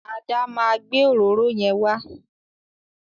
Ada ma gbé òróró yẹn wa.